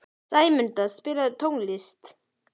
Sæmunda, spilaðu tónlist.